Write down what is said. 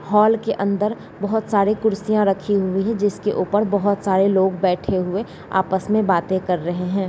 Hall के अंदर बहोत सारे कुर्सियां रखी हुई हैं जिसके ऊपर बहोत सारे लोग बैठे हुए आपस में बाते कर रहे हैं।